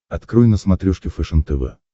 открой на смотрешке фэшен тв